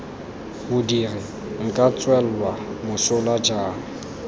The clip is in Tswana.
modiri nka tswelwa mosola jang